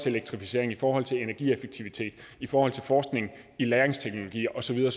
elektrificering i forhold til energieffektivitet i forhold til forskning i lagringsteknologier og så videre